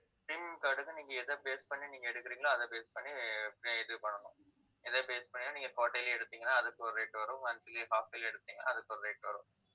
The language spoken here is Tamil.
premium card க்கு, நீங்க எத base பண்ணி, நீங்க எடுக்குறீங்களோ அதை base பண்ணி இது பண்ணணும். எதை base பண்ணி நீங்க quarterly ல எடுத்தீங்கன்னா அதுக்கு ஒரு rate வரும் monthly, half yearly எடுத்தீங்கன்னா அதுக்கு ஒரு rate வரும்